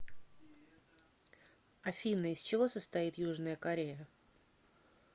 афина из чего состоит южная корея